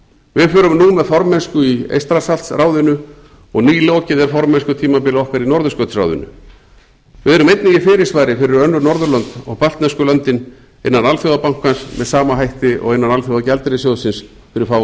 við förum nú með formennsku í eystrasaltsráðinu og nýlokið er formennskutímabili okkar í norðurskautsráðinu við erum einnig í fyrirsvari fyrir önnur norðurlönd og baltnesku löndin innan alþjóðabankans með sama hætti og innan alþjóðasjóðsins með sama hætti og innan alþjóðagjaldeyrissjóðsins fyrir fáum